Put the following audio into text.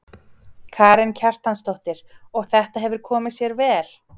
Karen Kjartansdóttir: Og þetta hefur komið sér vel?